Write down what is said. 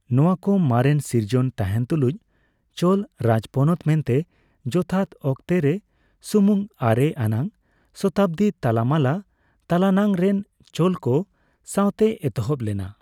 ᱱᱚᱣᱟᱠᱚ ᱢᱟᱨᱮᱱ ᱥᱤᱨᱡᱚᱱ ᱛᱟᱸᱦᱮᱱ ᱛᱩᱞᱩᱡᱸ, ᱪᱳᱞ ᱨᱟᱡᱽᱯᱚᱱᱚᱛ ᱢᱮᱱᱛᱮ ᱡᱚᱛᱷᱟᱛ ᱚᱠᱛᱮᱨᱮ ᱥᱩᱢᱩᱝ ᱟᱨᱮ ᱟᱱᱟᱜ ᱥᱚᱛᱟᱵᱽᱫᱤ ᱛᱟᱞᱟᱢᱟᱞᱟ ᱛᱟᱞᱟᱱᱟᱝ ᱨᱮᱱ ᱪᱳᱞᱠᱚ ᱥᱟᱣᱛᱮ ᱮᱛᱚᱦᱚᱵ ᱞᱮᱱᱟ ᱾